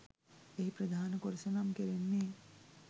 එහි ප්‍රධාන කොටස නම් කෙරෙන්නේ